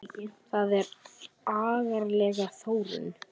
Það er agaleg þróun.